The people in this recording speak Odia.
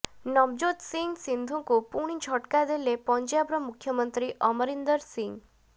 ନବଜୋତ ସିଂହ ସିଦ୍ଧୁଙ୍କୁ ପୁଣି ଝଟକା ଦେଲେ ପଞ୍ଜାବର ମୁଖ୍ୟମନ୍ତ୍ରୀ ଅମରିନ୍ଦର ସିଂହ